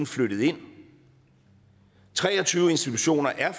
flyttet ind tre og tyve institutioner er